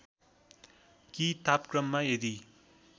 कि तापक्रममा यदि